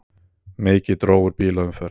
Mikið dró úr bílaumferð